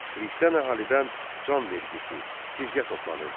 Xristian əhalidən can vergisi, cizyə toplanırdı.